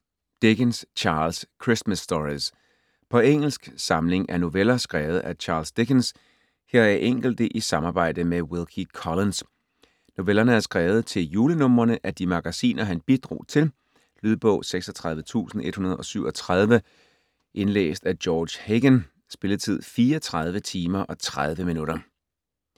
Dickens, Charles: Christmas stories På engelsk. Samling af noveller skrevet af Charles Dickens, heraf enkelte i samarbejde med Wilkie Collins. Novellerne er skrevet til julenumrene af de magasiner han bidrog til. Lydbog 36137 Indlæst af George Hagan Spilletid: 34 timer, 30 minutter.